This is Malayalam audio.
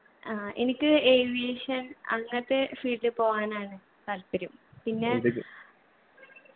ആ. എനിക്ക് aviation അങ്ങനത്തെ field ൽ പോവാനാണ് താല്പര്യം പിന്നെ